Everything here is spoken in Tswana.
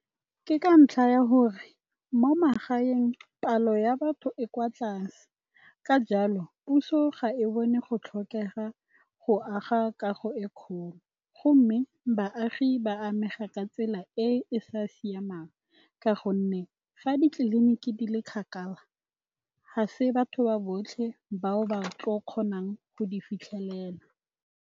Ke ka ntlha ya gore, mo magaeng palo ya batho e kwa tlase, ka jalo puso ga e bone go tlhokega go aga kago e e kgolo. Go mme, baagi ba amega ka tsela e e sa siamang, ka gonne fa ditleliniki di le kgakala, ha se batho ba botlhe bao ba tlileng go kgonang go di fitlhelela.